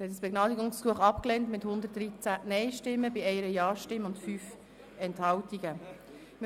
Sie haben dieses Begnadigungsgesuch mit 113 Nein-Stimmen zu 1 Ja-Stimme bei 5 Enthaltungen abgelehnt.